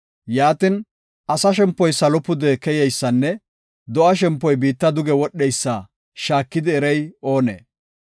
Yaatin, asa shempoy salo pude keyeysanne do7a shempoy biitta duge wodheysa shaakidi erey oonee?